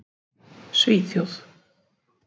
Svíþjóð